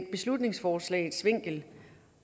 beslutningsforslagets vinkel